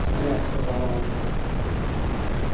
страх сказала ольга